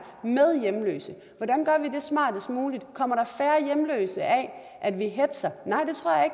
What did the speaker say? med hjemløse hvordan gør vi det smartest muligt kommer der færre hjemløse af at vi hetzer nej